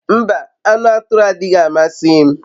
Mba, anu aturu adighi amasi m